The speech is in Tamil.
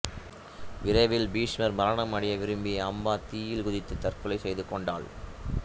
விரைவில் பீஷ்மர் மரணமடைய விரும்பிய அம்பா தீயில் குதித்து தற்கொலை செய்துகொண்டாள்